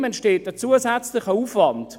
Ihm entsteht ein zusätzlicher Aufwand.